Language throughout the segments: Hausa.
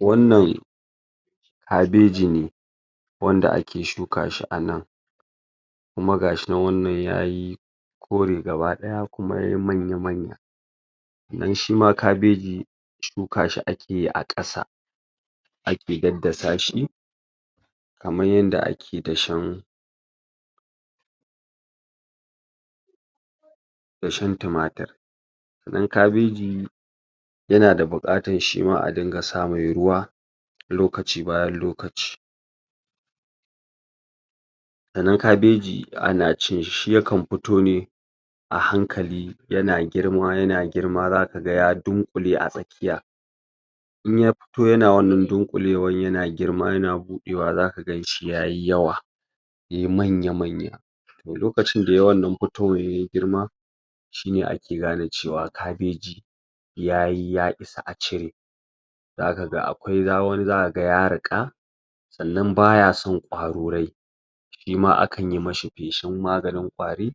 Wannan kabeji ne, wanda ake shuka shi a nan kuma gashi nan wannan yayi kore gabaɗaya kuma yayi manya manya. Dun shima kabeji shuka shi ake a kasa, ake daddasa shi kamar yanda ake dashen dashen tumatir. Sannan kabeji yana da bukar shima a ɗinga sa mai ruwa lokaci bayan lokaci, sannan kabeji ana cin shi yakan fito ne a hankali yana girma yana girma za ka ga ya dunkule a tsakiya, in ya fito yana wannan dukulewan yana girma yana buɗewa za ka gan shi yayi yawa yayi manya manya, to lokacin da yayi wannan fitowan ya yi girma shine ake gane cewa kabeji ya yi ya isa a cire, za ka ga akwai akwai wani za ka ga ya riƙa sannan baya son ƙwarorai, shima akan yi mashi feshen maganin ƙwari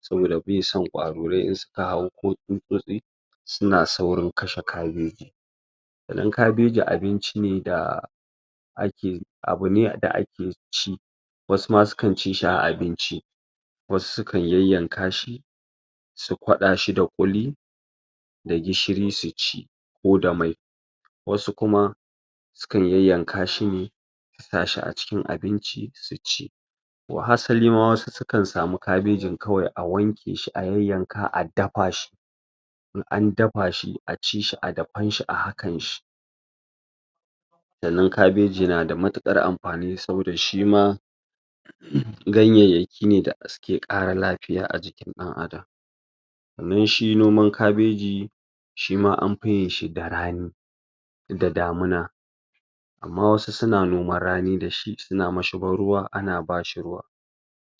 sabida bai san ƙwarorai in suka hau ko tsuntsosi, suna saurin kashe kabeji. Sannan kabeji abinci ne da ake abu ne da ake ci wasu ma su kan ci shi a abinci, wasu sukan yayanka shi su ƙwada shi da kuli da gishiri su ci ko da mai, wasu kuma su kan yayanka shi ne su sa shi a cikin abinci su ci. Wahasali ma wasu su kan samu kabejin kawai a wanke shi a yayanka a dafa shi, in an dafa shi, a ci shi a dafan shi a hakan shi. Sannan kabeji na da matukar amfani sannan shima ganyaki ne suke ƙara lafiya a jikin ɗan’Adam. Sannan shi noman kabeji shima an fiya yin shi da rani, da damuna, amma wasuna noman rani da shi suna mashigar ruwa ana bashi ruwa.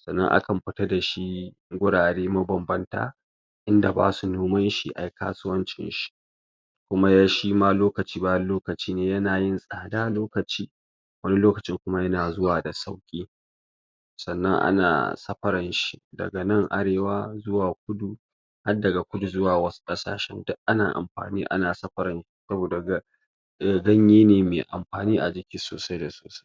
Sannan akan fita da shi gurare mabanbanta inda basu noman shi a yi kasuwancin shi. Kuma shi lokaci baya lokaci ne yana yin tsada lokaci, wani lokaci kuma yana zuwa da sauki. Sannan ana saparan shi daga nan arewa zuwa kudu har daga kudu zuwa wasu kasashen duk ana amfani ana saparan ganye ne mai amfani a jiki sosai da sosai.